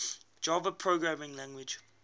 java programming language